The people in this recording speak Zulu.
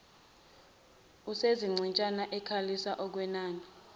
usezichitshana ekhalisa okwenina